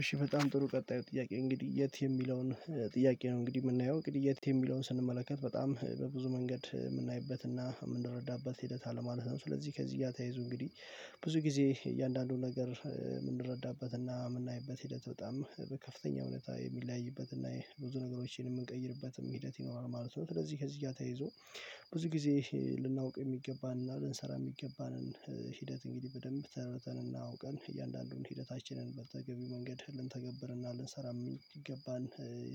እሺ በጣም ጥሩ ቀጣይ ጥያቄ እንግዲህ የት የሚለውን ጥያቄ ነው። እንግዲህ የምናየው ግድያ ግድያት የሚለውን ስንመለከት በጣም በብዙ መንገድ የምናይበትና የምንረዳበት ሂደት አለ ማለት ነው። ስለዚህ ከዚህ ጋር ተያይዞ እንግዲህ ብዙ ጊዜ እያንዳንዱን ነገር የምንረዳበትና የምናይበት ሂደት በጣም ከፍተኛ እውነት የሚለያይበትና የብዙ ነገሮችን የምንቀይርበትም ሂደት ይኖራል ማለት ነው። ስለዚህ ከዚህ ገር ተያይዞ ብዙ ጊዜ ልናውቅ የሚገባን እና ልንሰራ የሚገባንን ሂደት እንግዲህ በደንብ ተረድተንና አውቀን እያንዳንዱን ሂደታችንን በተገቢው መንገድ ልንተገብርና ልንሰራ የሚገባን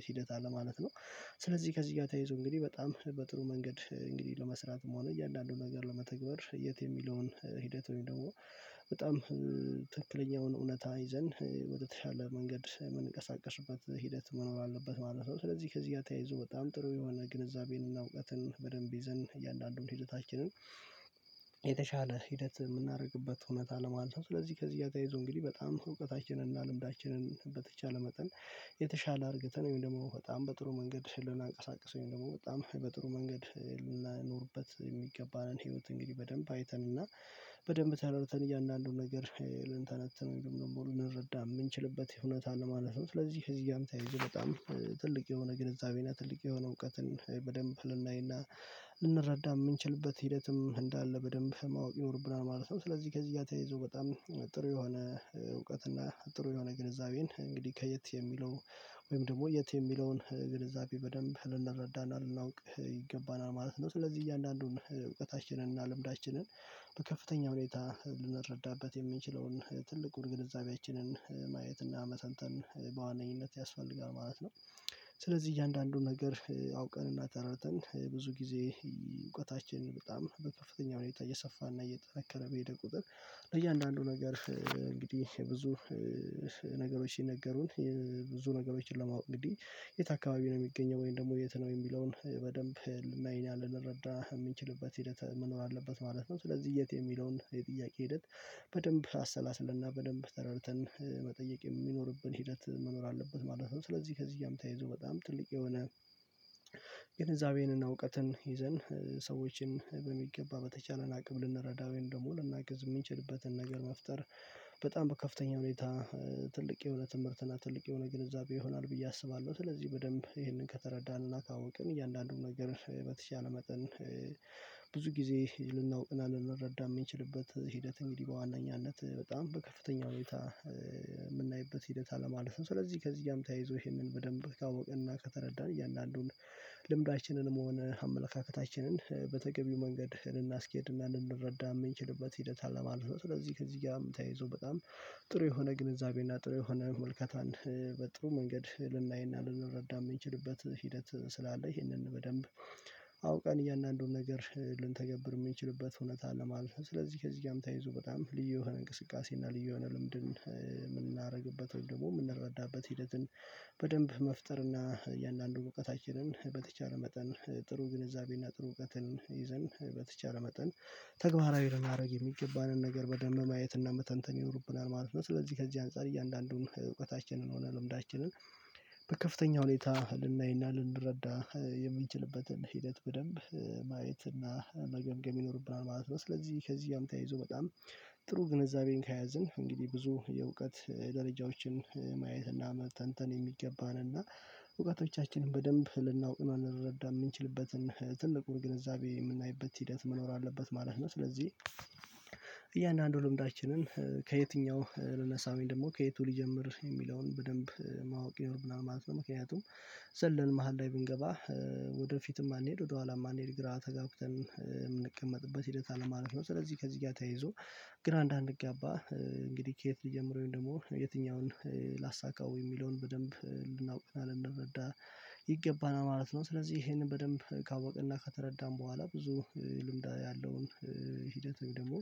ሂደት አለ ማለት ነው። ስለዚህ ከዚህ ጋር ተያይዞ እንግዲህ በጣም በጥሩ መንገድ እንግዲህ ለመስራትም ሆነ እያንዳንዱን ነገር ለመተግበር የት የሚለውን ሂደት ወይም ደግሞ በጣም ትክክለኛውን እውነታ ይዘን ወደተሻለ መንገድ የምንቀሳቀሽበት ሂደት መኖር አለበት ማለት ነው። ስለዚህ ከዚህ ጋር ተያይዞ በጣም ጥሩ የሆነ ግንዛቤንና እውቀትን በደንብ ይዘን እያንዳንዱን ሂደታችንን የተሻለ ሂደት የምናደርግበት እውነት አለም አለው። ስለዚህ ከዚህ እያዘይዞ እንግዲህ በጣም እውቀታችንን እና ልምዳችንን በተቻለ መጠን የተሻለ አድርገን ወይም ደግሞ በጣም በጥሩ መንገድ ልናንቀሳቅሰው ወይም ደግሞ በጣም በጥሩ መንገድ ልናኖርበት የሚገባንን ህይወት እንግዲህ በደንብ አይተንና በደንብ ተረድተን እያንዳንዱን ነገር ልንተነተን ደግሞ ልንረዳ የምንችልበት እውነት አለ ማለት ነው። ስለዚህ ከዚጋም ተያይዞ በጣም ትልቅ የሆነ ግንዛቤ እና ትልቅ የሆነ እውቀትን በደንብ ልናይና ልንረዳ የምንችልበት ሂደትም እንዳለ በደንብ ማወቅ ይኖርብናል ማለት ነው። ስለዚህ ከዚህ ጋር ተያይዘው በጣም ጥሩ የሆነ እና ጥሩ የሆነ ግንዛቤን እንግዲህ ከየት የሚለው ወይም ደግሞ የት የሚለውን ግንዛቤ በደንብ ልንረዳና ልናውቅ ይገባናል ማለት ነው። ስለዚህ እያንዳንዱን እውቀታችንን እና ልምዳችንን በከፍተኛ ሁኔታ ልንረዳበት የምንችለውን ትልቁን ግንዛቤችንን ማየት እና መተንተን በዋነኝነት ያስፈልጋል ማለት ነው። ስለዚህ እያንዳንዱን ነገር አውቀን እናጠራርተን ብዙ ጊዜ እውቀታችንን በጣም በከፍተኛ እየሰፋና እየጠረከረ በሄደ ቁጥር ለእያንዳንዱ ነገር እንግዲህ ብዙ ነገሮች ስነገሩን ብዙ ነገሮችን ለማወቅ እንግዲህ የት አካባቢ ነው የሚገኘው ወይም ደግሞ የት ነው የሚለውን በደንብ ልናይና ልንረዳ የምንችልበት ሂደት መኖር አለበት ማለት ነው። ስለዚህ የት የሚለውን የጥያቄ ሂደት በደንብ አሰላስለና በደንብ ተረድተን መጠየቅ የሚኖርብን ሂደት መኖር አለበት ማለት ነው። ስለዚህ ከዚህ እያም ተይዞ በጣም ትልቅ የሆነ ግንዛቤንና እውቀትን ይዘን ሰዎችን በሚገባ በተቻለን አቅም ልንረዳው ወይም ደግሞ ልናገዝ የምንችልበትን ነገር መፍጠር በጣም ከፍተኛ ሁኔታ ትልቅ የሆነ ትምህርትና ትልቅ የሆነ ግንዛቤ ይሆናል ብዬ አስባለሁ። ስለዚህ በደንብ ይሄንን ከተረዳንና ካወቅን እያንዳንዱን ነገር በተቻለ መጠን ብዙ ጊዜ ልናውቅና ልንረዳ የምንችልበት ሂደት እንግዲህ በዋነኛነት በጣም በከፍተኛ ሁኔታ የምናይበት ሂደት አለ ማለት ነው። ስለዚህ ከዚህ ጋርም ተያይዞ ይሄንን በደንብ ካወቅንና ከተረዳን እያንዳንዱን ልምዳችንንም መሆን አመለካከታችንን በተገቢው መንገድ ልናስኬድና ልንረዳ የምንችልበት ሂደት አለ ማለት ነው። ስለዚህ ከዚህ ጋር የምታይዘው በጣም ጥሩ የሆነ ግንዛቤ እና ጥሩ የሆነ መልከታን በጥሩ መንገድ ልናይና ልንረዳ የምንችልበት ሂደት ስላለ ይህንን በደንብ አውቀን እያንዳንዱን ነገር ልንተገብር ምንችልበት እውነት አለ ማለት ነው። ስለዚህ ከዚህ ጋርም ተይዞ በጣም ልዩ የሆነ እንቅስቃሴ እና ልዩ የሆነ ልምድን የምናደርግበት ወይም ደግሞ የምንረዳበት ሂደትን በደንብ መፍጠር እና የእያንዳንዱ እውቀታችንን በተቻለ መጠን ጥሩ ግንዛቤና ጥሩ እውቀትን ይዘን በተቻለ መጠን ተግባራዊ ልናረግ የሚገባንን ነገር በደንብ ማየት እና በተንተን ይኖርብናል ማለት ነው። ስለዚህ ከዚህ አንፃር እያንዳንዱን እውቀታችንን ሆነ ልምዳችንን በከፍተኛ ሁኔታ ልናይና ልንረዳ የምንችልበትን ሂደት በደንብ ማየት እና መገምገም ይኖርብናል ማለት ነው። ስለዚህ ከዚህ ያም ተያይዞ በጣም ጥሩ ግንዛቤን ከያዝን እንግዲህ ብዙ የእውቀት ደረጃዎችን ማየት እና መተንተን የሚገባን እና እውቀቶቻችንን በደንብ ልናውቅ እንንረዳ የምንችልበትን ትልቁን ግንዛቤ የምናይበት ሂደት መኖር አለበት ማለት ነው። ስለዚህ እያንዳንዱ ልምዳችንን ከየትኛው ልነሳ ወይን ደግሞ ከየቱ ሊጀምር የሚለውን በደንብ ማወቅ ይኖርብናል ማለት ነው። ምክንያቱም ዘለን መሃል ላይ ብንገባ ወደፊትም አንሄድ ወደኋላም አንሄድ ግራ ተጋግተን የምንቀመጥበት ሂደት አለ ማለት ነው። ስለዚህ ከዚህ ጋር ተይዞ ግራ እንዳንጋባ እንግዲህ ከየት ልጀምረው ወይም ደግሞ የትኛውን ላሳካው የሚለውን በደንብ ልናውቅና ልንመረዳ ይገባናል ማለት ነው። ስለዚህ ይሄንን በደንብ ካወቅንና ከተረዳን በኋላ ብዙ ልምድ ያለውን ሂደትም ደግሞ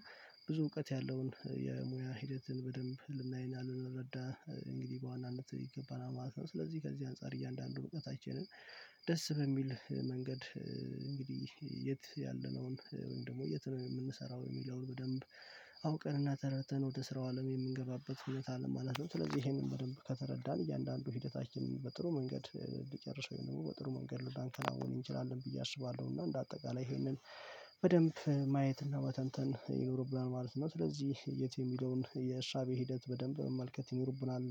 ብዙ እውቀት ያለውን የሙያ ሂደትን በደንብ ልናይና ልንረዳ እንግዲህ በዋናነት ይገባና ማለት ነው። ስለዚህ ከዚህ አንፃር እያንዳንዱ እውቀታችንን ደስ በሚል መንገድ እንግዲህ የት ያለነውን ወይም ደግሞ የት ነው የምንሰራው የሚለውን በደንብ አውቀንና ተረተን ወደ ስራው አለም የምንገባበት ህይወት አለም ማለት ነው። ስለዚህ ይሄንን በደንብ ከተረዳን እያንዳንዱ ሂደታችን በጥሩ መንገድ ሊጨርሰው ይሆናል በጥሩ መንገድ ላንከላውን እንችላለን ብዬ አስባለሁ። እና እንደ አጠቃላይ ይሄንን በደንብ ማየትና መተንተን ይኖርብናል ማለት ነው። ስለዚህ የት የሚለውን የእሳቤ ሂደት በደንብ መመልከት ይኖርብናል